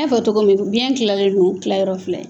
N y'a fɔ cogo min biyɛn kilalen don kilayɔrɔ fila ye